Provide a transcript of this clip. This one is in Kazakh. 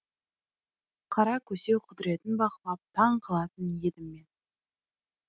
қара көсеу құдіретін бақылап таң қалатын едім мен